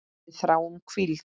Við þráum hvíld.